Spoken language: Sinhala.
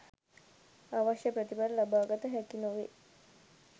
අවශ්‍ය ප්‍රතිඵල ලබාගත හැකි නොවෙයි.